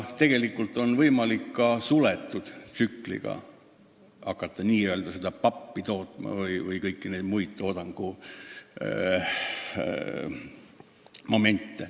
Tegelikult on võimalik hakata n-ö seda pappi tootma ka suletud tsükliga.